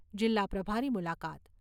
જિલ્લા પ્રભારી મુલાકાત